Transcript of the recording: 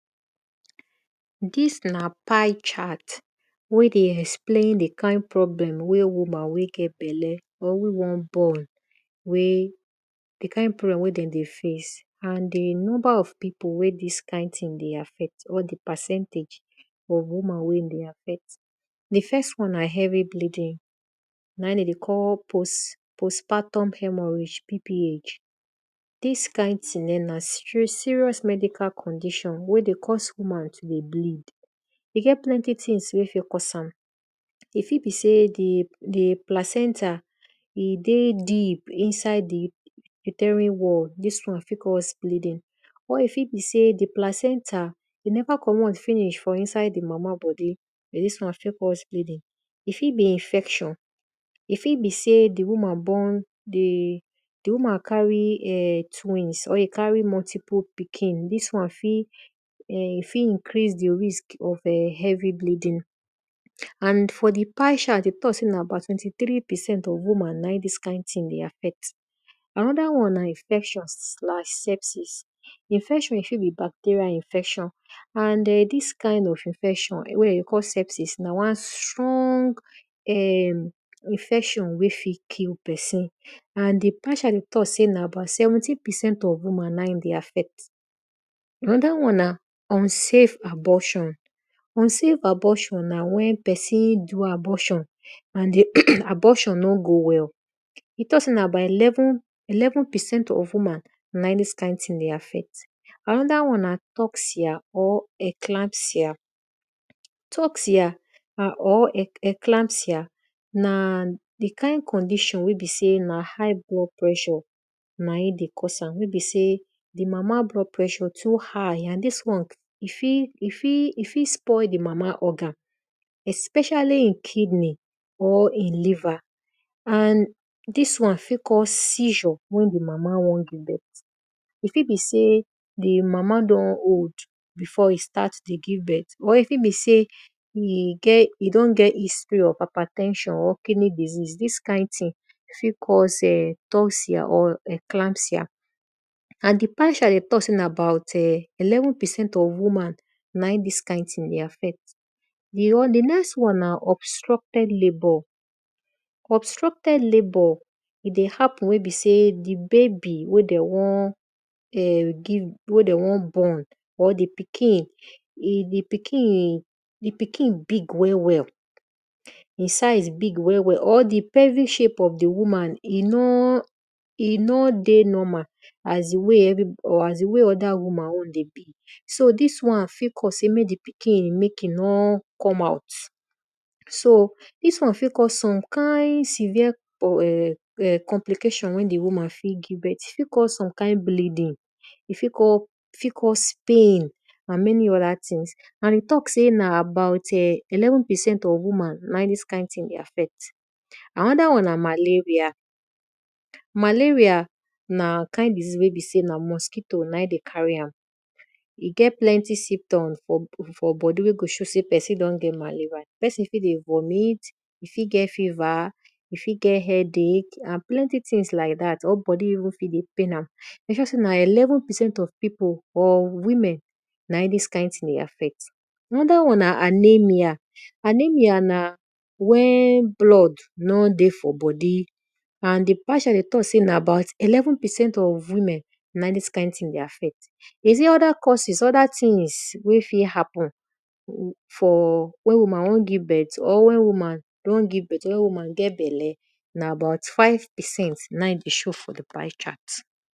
Dis na pie-chart wey explain wey woman wey get bele wey won born wey di kind problem wey den dey face and di number of pipu wey dis kind thing dey affct or di percentage of woman wey e dey affcct. Di first one na heavy bleeding na in de dey cll postpartum hermo PPH. Dis kind thing na srious medical condition wey dey cause woman to bleed. E get plenty things wey fit cause am, e fit be sey di placenta e dig deep inside di uterian wall, dis won fi acuse bleeding or e fit be sey di placenta neva commot finish for inside di mama bodi dis one fit cause bleeding. E fit be infection, e fit be sey di woman carry twins, or e carry multiple pikin, dis wan fit increase di risk of heavy bleedin and for di pie chart de tak sey na twenty-three percent of woman na in dis kind thing dey affect. Anoda wan na infection, infection fit b bacterial infection and dis kind of infection na wan stron infectinwey fit kill pesin na di pie chart dey talk sey abot seventeen percent na e dey affect anoda won na unsave abortion. Unsave abortion na wen pesin do abortinand di abortion no go well. De talk sey na about eleven percent of woman na in dis thing dey happen. Anoda one na encllasia. Toksia na di kind condition wey be sey na high blood pressure na in dey cause am wey be sey di mama blood pressure too high nd dis one e fit spoil di mama organ especially e kidney or e liver. And disown fit cause siecure wen di mama won give birth e fit be sey di mama don old before e start to give birth or e fit be sey e don get history of hyper ten sion or kidney disease dis kind thing fit cause toksia. Pie chart dey talk sey na about eleven prcent of woman na in dis won dey affect. Di ext one na obstructed labour. Obstructed labour e dey happenwen be sey di babi wey de won give wey de won born or di pikin di pikin big well wel e size big well well or di pelvic shape of di woman e no dey normal as di way other woman own dey be, so dis wan fit cause mek di pikin no come out dis wan fit cause some kind severe complication wen di woman won give birth, dis won fit cause some kind bledding, e fit cause pain and many other things. And de talk sey na abou eleven percent of woman na in dis kind thing fit affect. Anoda one na malaria, malaria na kind disease wen be sey namosquitoe na in dey carry am, e get plenty symtoms for bodi wen dey show sey pesin don get maleria, pepsin fit dey vomit, e fit get fever, e fit get headach and plenty things like dat or bodi fit de even pain e show sey na eleven percent of pipu na in dis kind thing dey affect. Anoda won na anemia, anemia na wen blood nor dey for bodi and de pie chart dey talk sey na about eleven percent of women na in di thing dey affect. E sey other causes other thing wey fit happen for wen woman won give birth wen woman get belle na about five percent na in dey show for di pie chart.